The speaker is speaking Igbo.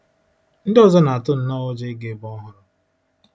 Ndị ọzọ na-atụ nnọọ ụjọ ịga ebe ọhụrụ.